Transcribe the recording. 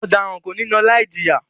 Ọdaran ko ni lọ laijiya!